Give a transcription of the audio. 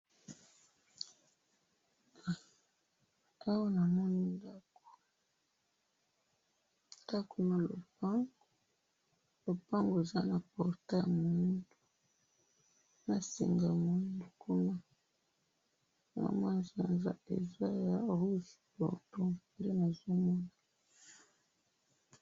Awa na moni ndako na kati ya lopango, na potail, na manzaza ya rouge bordeaux.